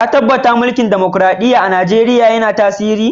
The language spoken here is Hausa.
Ka tabatta mulki'n dimokuradiyya'n a'Nijeriya yanna tasiri?